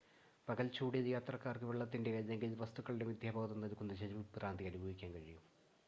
പകൽ ചൂടിൽ യാത്രക്കാർക്ക് വെള്ളത്തിന്റെ അല്ലെങ്കിൽ മറ്റ് വസ്തുക്കളുടെ മിഥ്യാബോധം നൽകുന്ന ജലവിഭ്രാന്തി അനുഭവിക്കാൻ കഴിയും